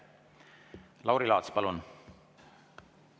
Lauri Laats, palun!